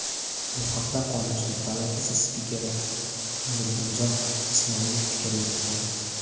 Bu haqda Qonunchilik palatasi spikeri Nurdinjon Ismoilov fikr yuritgan .